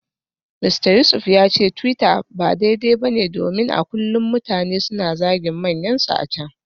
Mista Yusuf ya ce twitter ba daidai ba ne domin a kullum mutane suna zagin manyansu a can.